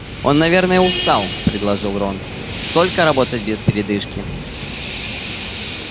он наверное устал предложил рон столько работать без передышки